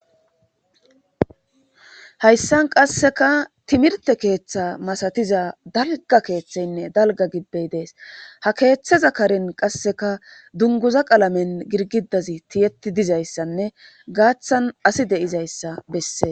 hayssan qasseka timirte keeththa masatiza dalga keeththeynne dalga gibbey dees ha keeththeza karin qasseka dunguza qalamen girgidazi tiyetti dizayssanne gaaththan asi deizayssa bessee